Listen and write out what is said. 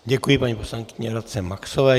Děkuji paní poslankyni Radce Maxové.